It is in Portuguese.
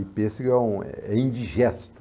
E pêssego é um, é indigesto.